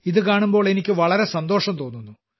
ഇതു കാണുമ്പോൾ എനിക്ക് വളരെ സന്തോഷം തോന്നുന്നു